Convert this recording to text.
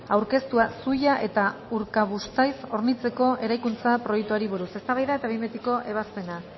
aurkeztua zuia eta urkabustaiz hornitzeko eraikuntza proiektuari buruz eztabaida eta behin betiko ebazpena